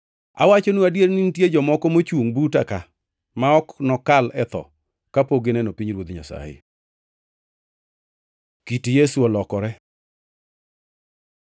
“Awachonu adier ni nitie jomoko mochungʼ buta ka ma ok nokal e tho kapok gineno pinyruoth Nyasaye.” Kit Yesu olokore